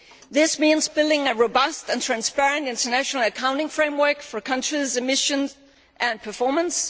This means building a robust and transparent international accounting framework for countries' emissions and performance.